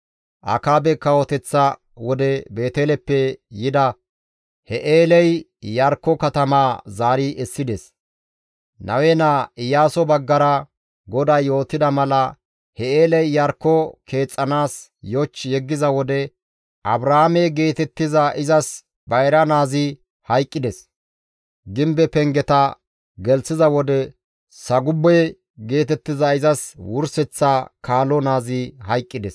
Akaabe kawoteththa wode Beeteleppe yida Hi7eeley Iyarkko katamaa zaari essides. Nawe naa Iyaaso baggara GODAY yootida mala Hi7eeley Iyarkko keexxanaas yoch yeggiza wode Abraame geetettiza izas bayra naazi hayqqides; gimbe pengeta gelththiza wode Sagube geetettiza izas wurseththa kaalo naazi hayqqides.